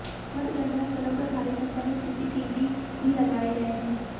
मतगणना स्थलों पर भारी संख्या में सीसीटीवी भी लगाए गए हैं